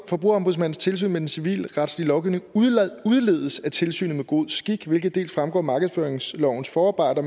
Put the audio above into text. forbrugerombudsmandens tilsyn med den civilretslig lovgivning udledes af tilsynet med god skik hvilket dels fremgår af markedsføringslovens forarbejder